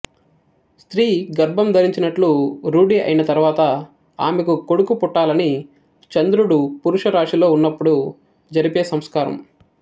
స్త్రీ గర్భం ధరించినట్లు రూఢి అయిన తర్వాత ఆమెకు కొడుకు పుట్టాలని చంద్రుడు పురుషరాశిలో ఉన్నప్పుడు జరిపే సంస్కారం